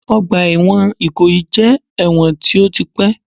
Ọgbà ẹ̀wọ̀n Ìkòyí jẹ́ ẹ̀wọ̀n tí ó ti pẹ́